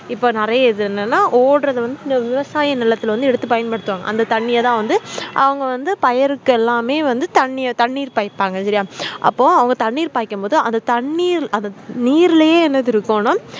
இப்போ நெறையஇது என்னனா ஓடுற வந்து விவசாய நெலத்துல எடுத்து பயன்படுத்துவாங்க அந்த தண்ணிய தான் வந்து அவங்க பயிறுகெலாம் தண்ணி பாய்பாங்க இது என்னனா அப்போ தண்ணிர்பாய்க்கும் போது தண்ணிர் அந்த நீர்லே என்ன இருக்கும் னா